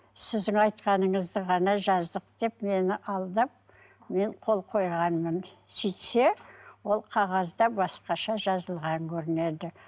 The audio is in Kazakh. сіздің айтқаныңызды ғана жаздық деп мені алдап мен қол қойғанмын сөйтсе ол қағазда басқаша жазылған көрінеді